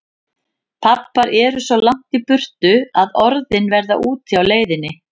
Pabbar eru svo langt í burtu að orðin verða úti á leiðinni.